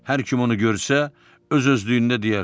Hər kim onu görsə, öz-özlüyündə deyər: